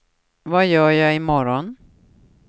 vad gör jag imorgon